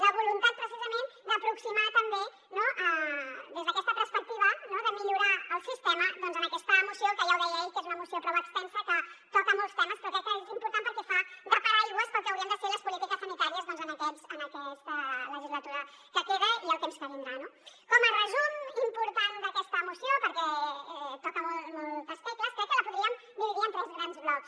la voluntat precisament d’aproximar també des d’aquesta perspectiva de millorar el sistema doncs en aquesta moció que ja ho deia ell que és una moció prou extensa que toca molts temes però crec que és important perquè fa de paraigua pel que haurien de ser les polítiques sanitàries en aquesta legislatura que queda i el temps que vindrà no com a resum important d’aquesta moció perquè toca moltes tecles crec que la podríem dividir en tres grans blocs